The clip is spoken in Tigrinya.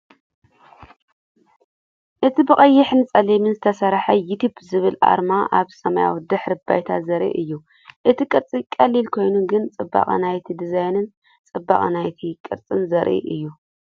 እቲ ብቐይሕን ጸሊምን ዝተሰርሐ “ዩቱብ ዝብል ኣርማ ኣብ ሰማያዊ ድሕረ ባይታ ዘርኢ እዩ። እቲ ቅርጺ ቀሊል ኮይኑ ግን ጽባቐ ናይቲ ዲዛይንን ጽባቐ ናይቲ ቅርጽን ዘርኢ እዩ።